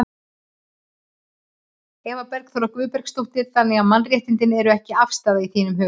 Eva Bergþóra Guðbergsdóttir: Þannig að mannréttindi eru ekki afstæð í þínum huga?